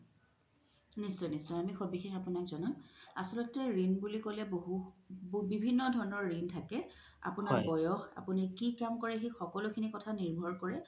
নিশ্চয় নিশ্চয় আমি সবিশেষ আপোনাক জনাম আচ্ল্তে ৰিন বুলি ক্'লে বহু বিভিন্ন ধৰণৰ ৰিন থাকে আপোনাৰ বয়স আপোনি কি কাম কৰে সেই সকলো কথা নিৰভৰ কৰে